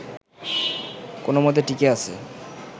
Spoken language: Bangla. কোনোমতে টিকে আছে